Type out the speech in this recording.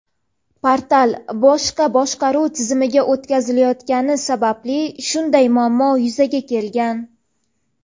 Portal boshqa boshqaruv tizimiga o‘tkazilayotgani sababli shunday muammo yuzaga kelgan.